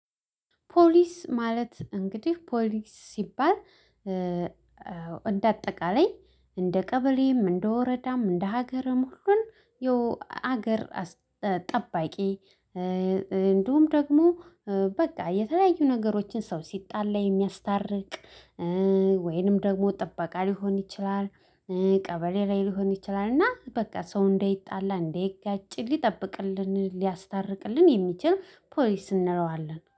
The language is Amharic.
ፖሊስ ማለት እንግዲህ ፖሊስ ሲባል እንደ አጠቃላይ እንደ ቀበሌም እንደ ወረዳም እንደ ሀገርም ሁሉን ሀገር ጠባቂ እንዲሁም ደግሞ በቃ የተለያዩ ነገሮችን ሰው ሲጣላ የሚያስታርቅ ወይንም ደግሞ ጥባቃ ሊሆን ይችላል። ቀበሌ ላይ ሊሆን ይችላል እና በቃ ሰው እንዳይጣላ እንዳይጋጭ ሊጠብቅልን ሊያስታርቅልን የሚችል ፖሊስ እንለዋለን